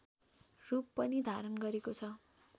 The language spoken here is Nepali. रूप पनि धारण गरेको छ